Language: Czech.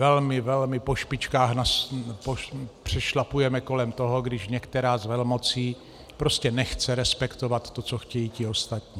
Velmi, velmi po špičkách přešlapujeme kolem toho, když některá z velmocí prostě nechce respektovat to, co chtějí ti ostatní.